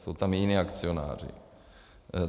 Jsou tam i jiní akcionáři.